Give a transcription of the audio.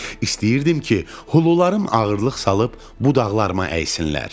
İstəyirdim ki, hulularım ağırlıq salıb budaqlarıma əysinlər.